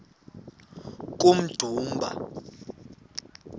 kummdumba